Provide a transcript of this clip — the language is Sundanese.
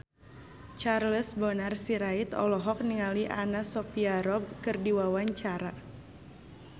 Charles Bonar Sirait olohok ningali Anna Sophia Robb keur diwawancara